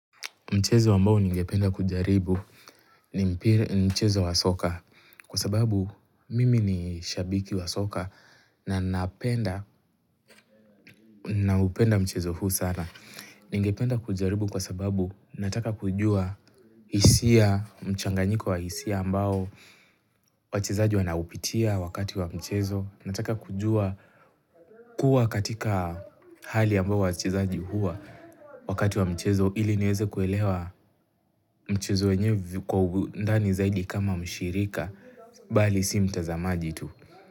Mchezo ambao ningependa kujaribu ni mchezo wa soka kwa sababu mimi ni shabiki wa soka na napenda mchezo huu sana. Ningependa kujaribu kwa sababu nataka kujua hisia mchanganyiko wa hisia ambao wachezaji wanaupitia wakati wa mchezo. Nataka kujua kuwa katika hali ambao wachezaji huwa wakati wa mchezo ili niweze kuelewa mchezo enyevi kwa ugundani zaidi kama mshirika bali si mtazamaji tu.